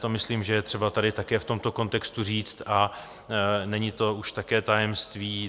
To myslím, že je třeba tady také v tomto kontextu říct, a není to už také tajemství.